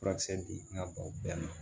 Furakisɛ di n ka baw bɛɛ ma